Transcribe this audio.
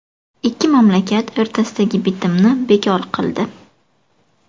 Ikki mamlakat o‘rtasidagi bitimni bekor qildi.